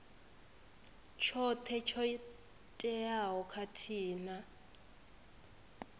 tshoṱhe tsho teaho khathihi na